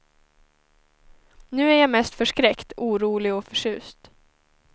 Nu är jag mest förskräckt, orolig och förtjust.